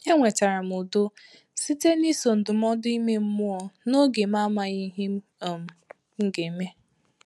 Enwetara m udo site n’iso ndụmọdụ ime mmụọ n’oge m amaghị ihe um nga eme